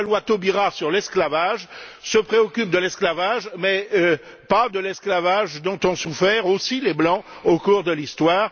Enfin, la loi Taubira sur l'esclavage se préoccupe de l'esclavage mais pas de l'esclavage dont ont souffert aussi les blancs au cours de l'histoire.